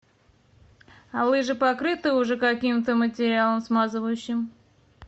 а лыжи покрыты уже каким то материалом смазывающим